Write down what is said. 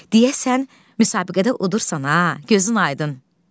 Deyəsən müsabiqədə udursan ha, gözün aydın.